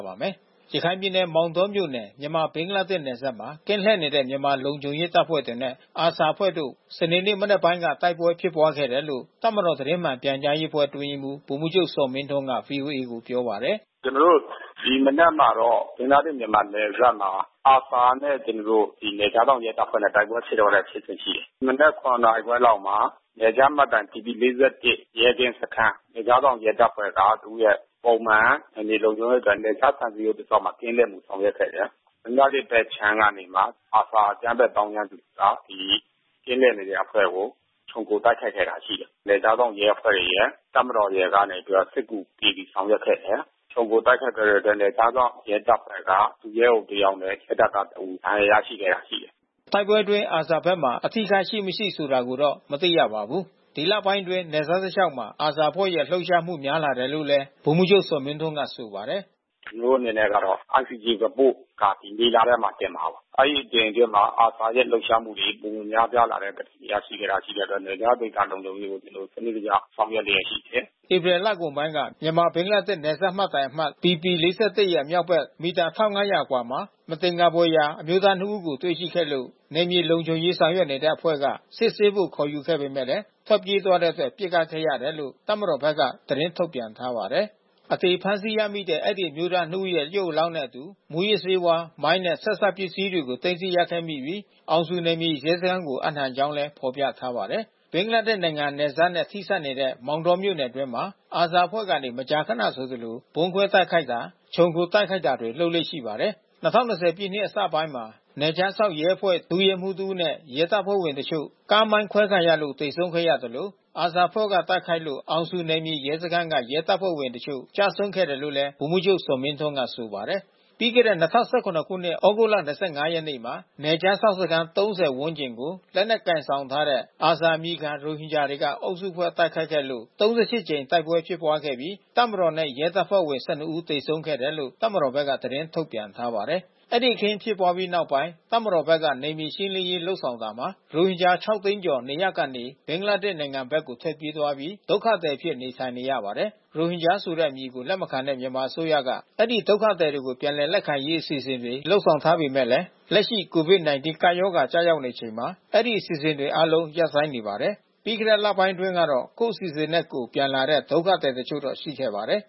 ပါတယ်။ ရခိုင်ပြည်နယ် မောင်တောမြို့နယ် မြန်မာ-ဘင်္ဂလားဒေ့ရှ် နယ်စပ်မှာ ကင်းလှည့်နေတဲ့ မြန်မာလုံခြုံရေးတပ်ဖွဲ့တွေနဲ့ ARSA အဖွဲ့တို့ စနေနေ့ မနက်ပိုင်းက တိုက်ပွဲဖြစ်ပွားခဲ့တယ်လို့ တပ်မတော် သတင်းမှန်ပြန်ကြားရေးအဖွဲ့ အတွင်းရေးမှူး ဗိုလ်မှူးချုပ်ဇော်မင်းထွန်းက ဗွီအိုအေကို ပြောပါတယ်။ “ကျနော်တို့ ဒီမနက်မှာတော့ ဘင်္ဂလားဒေ့ရှ်-မြန်မာ နယ်စပ်မှာ ARSA နဲ့ ကျနော်တို့ နယ်ခြားစောင့်ရဲတပ်ဖွဲ့နဲ့ တိုက်ပွဲဖြစ်ပွားခဲ့တဲ့ဖြစ်စဉ် ရှိတယ်။ မနက် ၇ နာရီခွဲလောက်မှာ နယ်ခြားမှတ်တိုင် ဘီပီ-၄၁ ရဲကင်းစခန်း နယ်ခြားစောင့် ရဲတပ်ဖွဲ့က သူ့ရဲ့ ပုံမှန် နယ်မြေလုံခြုံရေးအတွက် နယ်ခြားခြံစည်းရိုးတလျှောက်မှာ ကင်းလှည့်ပြီး ဆောင်ရွက်ခဲ့တယ်။ ဘင်္ဂလားဒေ့ရှ်ဘက်ခြမ်းကနေပြီးမှ ARSA အကြမ်းဖက်သောင်းကျန်းသူက ဒီကင်းလှည့်နေတဲ့အဖွဲ့ကို ခြုံခိုတိုက်ခိုက်ခဲ့တာ ရှိတယ်။ နယ်ခြားစောင့်ရဲအဖွဲ့ရယ် တပ်မတော်ကနေပြီးတော့မှ စစ်ကူပေးပြီး ဆောင်ရွက်ခဲ့တယ်။ ခြုံခိုတိုက်ခိုက်ခဲ့တဲ့အတွက် နယ်ခြားစောင့်ရဲတပ်ဖွဲ့က ဒုရဲအုပ်တယောက်နဲ့ စစ်တပ်ကတဦး ဒဏ်ရာရခဲ့တာ ရှိတယ်။” တိုက်ပွဲအတွင်း ARSA ဘက်မှာ အထိအခိုက်ရှိမရှိ ဆိုတာကိုတော့ မသိရပါဘူး။ ဒီလပိုင်းတွေအတွင်း နယ်စပ်တလျှောက်မှာ ARSA အဖွဲ့ရဲ့လှုပ်ရှားမှု များလာတယ်လို့လည်း ဗိုလ်မှူးချုပ်ဇော်မင်းထွန်းက ဆိုပါတယ်။ “ကျနော်တို့အနေနဲ့ကတော့ ICJ Report က ဒီမေလထဲမှာ တင်မှာပါ။ အဲဒီအချိန်အတွင်းမှာ ARSA ရဲ့ လှုပ်ရှားမှုတွေ ပိုမိုများပြားလာတဲ့သတင်း ရရှိထားတာ ရှိတဲ့အတွက် နယ်ခြားဒေသ လုံခြုံရေးကို ကျနော်တို့ စနစ်တကျ ဆောင်ရွက်လျက်ရှိတယ်။” ဧပြီလကုန်ပိုင်းက မြန်မာ-ဘင်္ဂလားဒေ့ရှ် နယ်စပ်မှတ်တိုင်အမှတ် ဘီပီ-၄၁ ရဲ့ မြောက်ဘက် မီတာ ၁၅၀၀ ခန့်အကွာမှာ မသင်္ကာဖွယ်ရာ အမျိုးသားနှစ်ဦးကို တွေ့ရှိခဲ့လို့ နယ်မြေလုံခြုံရေး ဆောင်ရွက်နေတဲ့အဖွဲ့က စစ်ဆေးဖို့ ခေါ်ယူခဲ့ပေမယ့် ထွက်ပြေးသွားတဲ့အတွက် ပစ်ခတ်ခဲ့ရတယ်လို့ တပ်မတော်ဘက်က သတင်းထုတ်ပြန်ထားပါတယ်။ အသေဖမ်းဆီးရမိတဲ့ အဲဒီအမျိုးသားနှစ်ဦးရဲ့ ရုပ်အလောင်းနဲ့အတူ မူးယစ်ဆေးဝါး၊ မိုင်းနဲ့ ဆက်စပ်ပစ္စည်းတွေကို သိမ်းဆည်းရခဲ့ပြီး အောင်ဇူနယ်မြေရဲစခန်းကို အပ်နှံကြောင်း ဖော်ပြထားပါတယ်။ ဘင်္ဂလားဒေ့ရ်နိုင်ငံ နယ်စပ်နဲ့ ထိစပ်နေတဲ့ မောင်တောမြို့နယ်အတွင်းမှာ ARSA အဖွဲ့က မကြာခနဆိုသလို ဗုံးခွဲတိုက်ခိုက်တာ ခြုံခိုတိုက်ခိုက်တာတွေ လုပ်လေ့ရှိပါတယ်။ ၂၀၂၀ ပြည့်နှစ် အစပိုင်းမှာ နယ်ခြားစောင့်ရဲအဖွဲ့ ဒုရဲမှူးတဦးနဲ့ ရဲတပ်ဖွဲ့ဝင်တချို့ ကားမိုင်းခွဲခံရလို့ သေဆုံးခဲ့သလို ARSA အဖွဲ့က တိုက်ခိုက်လို့ အောင်ဇူနယ်မြေရဲစခန်းက ရဲတပ်ဖွဲ့ဝင်တချို့ ကျဆုံးခဲ့တယ်လို့လည်း ဗိုလ်မှူးချုပ်ဇော်မင်းထွန်းက ဆိုပါတယ်။ ပြီးခဲ့တဲ့ ၂၀၁၇ သြဂုတ်လ ၂၅ ရက်နေ့မှာ နယ်ခြားစောင့်စခန်း ၃၀ ဝန်းကျင်ကို လက်နက်ကိုင်ဆောင်ထားတဲ့ ARSA အမည်ခံ ရိုဟင်ဂျာတွေက အုပ်စုဖွဲ့ တိုက်ခိုက်ခဲ့လို့ ၃၈ ကြိမ် တိုက်ပွဲဖြစ်ပွားခဲ့ပြီး တပ်မတော်နဲ့ ရဲတပ်ဖွဲ့ဝင် ၁၂ ဦး သေဆုံးခဲ့တယ်လို့ တပ်မတော်ဘက်က သတင်းထုတ်ပြန်ထားပါတယ်။ အဲဒီ အခင်းဖြစ်ပွားပြီးနောက်ပိုင်း တပ်မတော်ဘက်က နယ်မြေရှင်းလင်းရေး လုပ်ဆောင်တာမှာ ရိုဟင်ဂျာ ၇ သိန်းကျော် နေရပ်ကနေ ဘင်္ဂလားဒေ့ရှ် နိုင်ငံဘက်ကို ထွက်ပြေးပြီး ဒုက္ခသည်အဖြစ် နေထိုင်နေရပါတယ်။ ရိုဟင်ဂျာဆိုတဲ့အမည်ကို လက်မခံတဲ့ မြန်မာအစိုးရက အဲဒီဒုက္ခသည်တွေကို ပြန်လည်လက်ခံရေး အစီအစဉ်တွေ လုပ်ဆောင်ထားပေမယ့်လည်း လက်ရှိ COVID-19 ကပ်ရောဂါ ကျရောက်နေချိန်မှာ အဲဒီအစီအစဉ်တွေအားလုံး ရပ်ဆိုင်းနေပါတယ်။ ပြီးခဲ့တဲ့ လပိုင်းတွေတုန်းကတော့ ကိုယ့်အစီအစဉ်နဲ့ကိုယ် ပြန်လာတဲ့ ဒုက္ခသည်တချို့တော့ ရှိခဲ့ပါတယ်